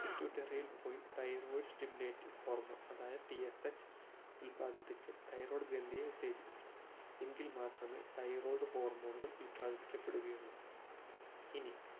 pituitary പോയി THYROIDSTIMULATINGHORMONE അതായത് TSH ഉല്പാദിപ്പിച് thyroid ഗ്രന്ഥിയെ ഉത്തേജിപ്പിച്ചു എങ്കിൽ മാത്രമേ thyroid hormone ഉകൾ ഉല്പാദിപ്പിക്കപെടുകയുള്ളു ഇനി